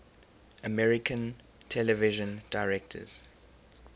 american television directors